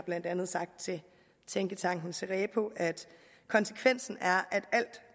blandt andet sagt til tænketanken cerepo at konsekvensen er